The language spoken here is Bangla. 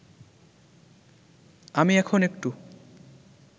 আমি এখন একটু